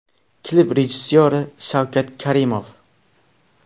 Klip rejissyori Shavkat Karimov.